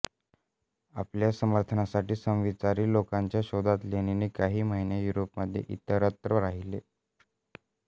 आपल्या समर्थनासाठी समविचारी लोकांच्या शोधात लेनिन काही महिने युरोपमध्ये इतरत्र राहिले